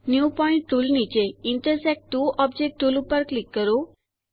new point tool નીચે intersect two objects tool ઉપર click કરો